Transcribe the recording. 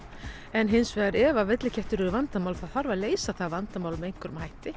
en hins vegar ef villikettir eru vandamál þá þarf að leysa það vandamál með einhverjum hætti